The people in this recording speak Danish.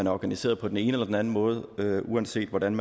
er organiseret på den ene eller den anden måde uanset hvordan